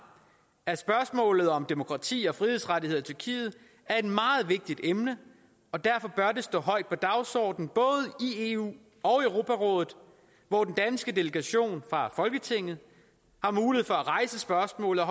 at spørgsmål om demokrati og frihedsrettigheder i tyrkiet er et meget vigtigt emne og derfor bør det stå højt på dagsordenen både i eu og europarådet hvor den danske delegation fra folketinget har mulighed for at rejse spørgsmål og